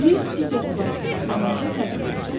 Yer digər planetlərdən necə fərqlənir?